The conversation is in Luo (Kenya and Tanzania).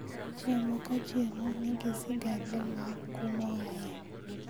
Chiemo ka chiemo nigi sigande mar kumoaye